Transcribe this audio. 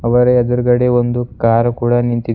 ಇಬ್ಬರ ಎದ್ರುಗಡೆ ಒಂದು ಕಾರ್ ಕೂಡ ನಿಂತಿದೆ.